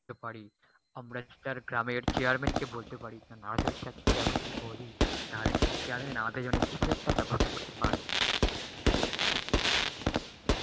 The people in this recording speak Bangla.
পারি আমরা কি তার গ্রামের chairman কে বলতে পারি, chairman কে বলি তাহলে সেই chairman আমাদের জন্য কিছু একটা ব্যবস্থা করতে পারে.